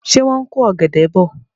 Ṣé wọ́n ń ko ọ̀gẹ̀dẹ̀ bọ̀?